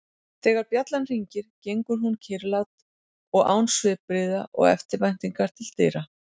Þegar bjallan hringir gengur hún kyrrlát og án svipbrigða og eftirvæntingar til dyra.